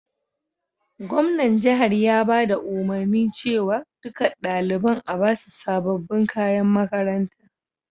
Gwamnan jihar ya baɗa umurni cewa ɗukan ɗalibain a'basu sabobin kayan makaranta.